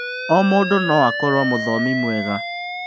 O mũndũ no akorwo mũthomi mwega.